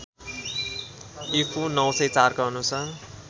ईपू ९०४ का अनुसार